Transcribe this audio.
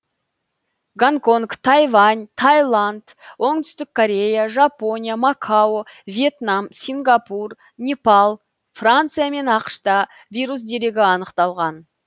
гонконг тайвань тайланд оңтүстік корея жапония макао вьетнам сингапур непал франция мен ақш та вирус дерегі анықталған